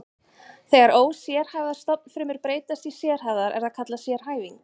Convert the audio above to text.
Þegar ósérhæfðar stofnfrumur breytast í sérhæfðar er það kallað sérhæfing.